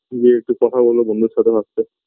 গিয়ে একটু কথা বলবো বন্ধুর সাথে first -এ